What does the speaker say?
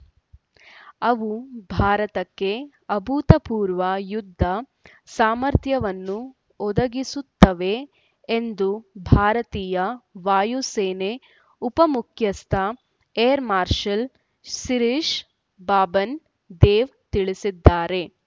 ಅವು ಭಾರತಕ್ಕೆ ಅಭೂತಪೂರ್ವ ಯುದ್ಧ ಸಾಮರ್ಥ್ಯವನ್ನು ಒದಗಿಸುತ್ತವೆ ಎಂದು ಭಾರತೀಯ ವಾಯುಸೇನೆ ಉಪಾ ಮುಖ್ಯಸ್ಥ ಏರ್‌ ಮಾರ್ಷಲ್‌ ಶಿರಿಷ್‌ ಬಾಬನ್‌ ದೇವ್‌ ತಿಳಿಸಿದ್ದಾರೆ